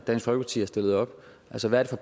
dansk folkeparti har stillet op altså hvad